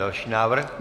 Další návrh?